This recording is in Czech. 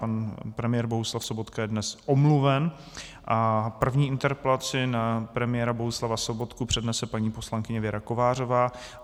Pan premiér Bohuslav Sobotka je dnes omluven a první interpelaci na premiéra Bohuslava Sobotku přednese paní poslankyně Věra Kovářová.